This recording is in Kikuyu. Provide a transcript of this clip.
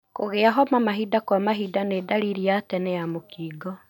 Kũgĩa homa mahinda kwa mahinda nĩ ndariri ya tene ya mũkingo.